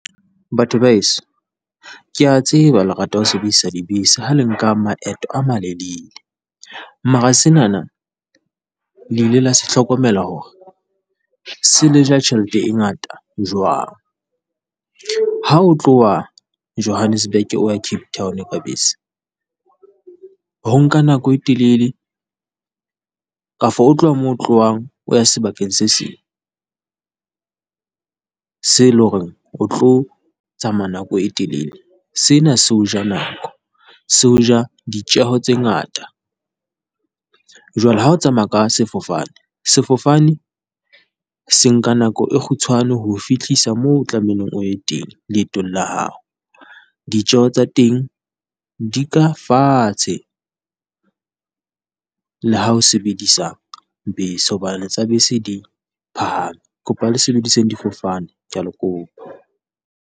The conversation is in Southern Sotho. Batho ba heso kea tseba le rata ho sebedisa dibese ha le nka maeto a malelele. Mara senana le ile la se hlokomela hore se le ja tjhelete e ngata jwang? Ha o tloha Johannesburg o ya Cape Town ka bese, ho nka nako e telele ho tloha moo tlohang o ya sebakeng se seng. Se leng hore o tlo tsamaya nako e telele, sena se o ja nako, se o ja ditjeho tse ngata. Jwale ha o tsamaya ka sefofane, sefofane se nka nako e kgutshwane ho o fitlhisa moo o tlamehileng o ye teng leetong la hao. Ditjeho tsa teng di ka fatshe le ha o sebedisa bese, hobane tsa bese di phahame. Kopa le sebediseng difofane. Kea le kopa.